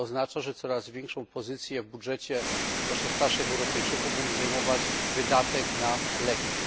To oznacza, że coraz większą pozycję w budżecie, zwłaszcza starszych Europejczyków, będzie zajmować wydatek na leki.